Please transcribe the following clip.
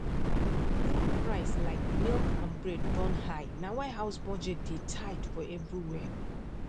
food price like milk and bread don high na why house budget dey tight for everywhere